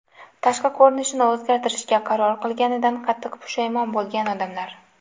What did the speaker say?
Tashqi ko‘rinishini o‘zgartirishga qaror qilganidan qattiq pushaymon bo‘lgan odamlar .